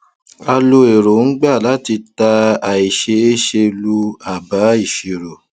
a lo èròńgbà láti ta àìséése lu àbá ìṣirò